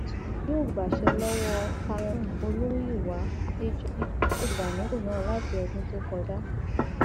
àjíṣẹtùgù yóò gbaṣẹ lọwọ cameroon olùmúyíwá àdéjọbí tó ti wà nípò náà láti ọdún tó kọjá